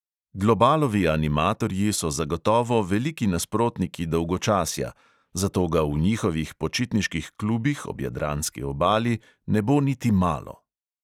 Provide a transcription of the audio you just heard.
Globalovi animatorji so zagotovo veliki nasprotniki dolgočasja, zato ga v njihovih počitniških klubih ob jadranski obali ne bo niti malo!